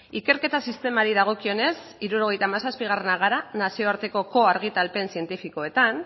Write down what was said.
ikerketa sistemari dagokionez hirurogeita hamazazpiak gara nazioartekoko argitalpen zientifikoetan